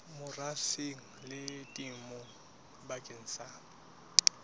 merafong le temong bakeng sa